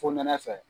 Fonɛnɛ fɛ